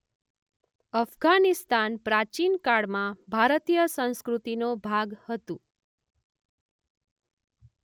અફઘાનિસ્તાન પ્રાચીન કાળમાં ભારતીય સંસ્કૃતીનો ભાગ હતું.